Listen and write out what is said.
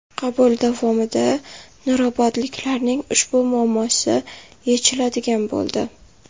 Qabul davomida nurobodliklarning ushbu muammosi yechiladigan bo‘ldi.